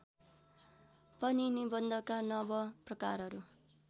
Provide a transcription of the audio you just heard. पनि निबन्धका नवप्रकारहरू